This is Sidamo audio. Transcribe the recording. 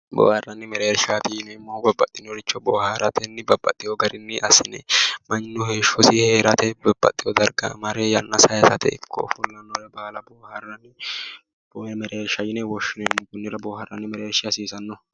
Boohaarranni mereershaati yineemmohu babbaxinoricho boohaaratenni babbaxewo gainni assanni mannu heeshshosi heerate ikkewo darga mare yanna saayiisate kooye mereershsha yine woshshinanni. boohaarranni mereershshi hasiisanno.